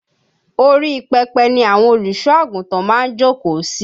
Orí pẹpẹ ni àwọn Olùsọ́ àgùntàn máa ń jókòó si